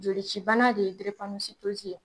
Joli cibana de ye giripanositozi ye